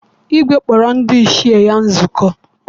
Igwe kpọrọ ndị ichie ya nzukọ.